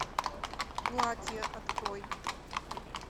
платье открой